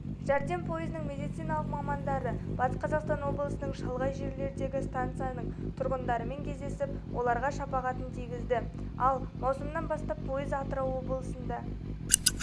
жәрдем пойызының медициналық мамандары батыс қазақстан облысының шалғай жерлеріндегі станцияның тұрғындарымен кездесіп оларға шапағатын тигізді ал маусымнан бастап пойыз атырау облысында